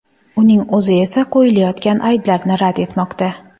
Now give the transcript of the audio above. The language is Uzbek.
Uning o‘zi esa qo‘yilayotgan ayblarni rad etmoqda.